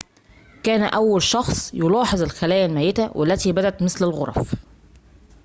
كان أول شخص يلاحظ الخلايا الميتة والتي بدت مثل الغرف